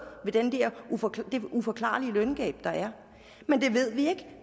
ved det uforklarlige løngab der er men det ved vi ikke